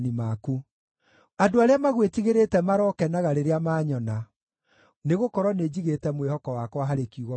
Andũ arĩa magwĩtigĩrĩte marokenaga rĩrĩa maanyona, nĩgũkorwo nĩnjigĩte mwĩhoko wakwa harĩ kiugo gĩaku.